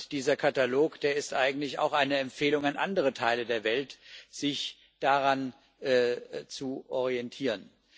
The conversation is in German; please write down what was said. Dieser Katalog ist eigentlich auch eine Empfehlung an andere Teile der Welt, sich daran zu orientieren.